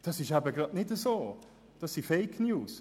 Dem ist eben gerade nicht so, das sind Fake News.